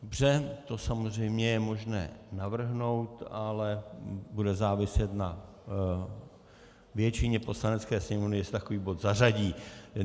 Dobře, to samozřejmě je možné navrhnout, ale bude záviset na většině Poslanecké sněmovny, jestli takový bod zařadí.